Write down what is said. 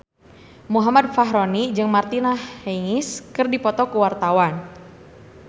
Muhammad Fachroni jeung Martina Hingis keur dipoto ku wartawan